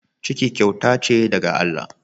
Ciki kyauta ce daga Allah.